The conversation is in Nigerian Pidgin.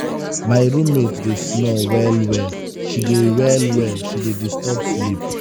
my room mate dey snore well-well she dey well-well she dey disturb sleep.